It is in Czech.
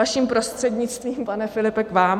Vaším prostřednictvím, pane Filipe, k vám.